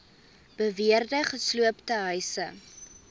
beweerde gesloopte huise